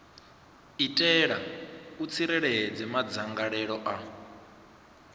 itela u tsireledza madzangalelo a